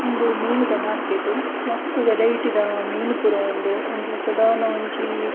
ಉಂದು ಮೀನುದ ಮಾರ್ಕೆಟ್ ಮಸ್ತ್ ವೆರೈಟಿ ದ ಮೀನು ಪೂರ ಉಂಡು ಒಂಜಿ ಸದಾರ್ನ ಒಂಜೀ --